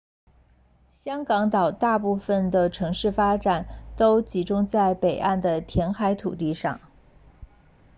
香港岛大部分的城市发展都集中在北岸的填海土地上